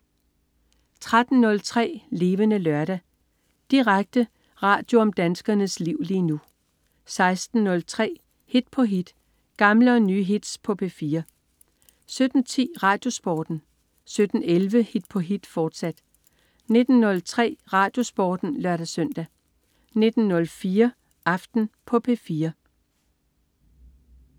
13.03 Levende Lørdag. Direkte radio om danskernes liv lige nu 16.03 Hit på hit. Gamle og nye hits på P4 17.10 RadioSporten 17.11 Hit på hit, fortsat 19.03 RadioSporten (lør-søn) 19.04 Aften på P4